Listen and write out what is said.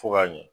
Fo k'a ɲɛ